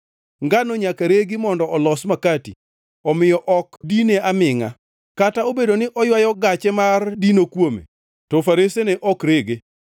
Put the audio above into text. Ngano nyaka regi mondo olos makati; omiyo ok dine amingʼa. Kata obedo ni oywayo gache mar dino kuome, to faresene ok rege.